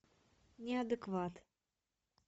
неадекват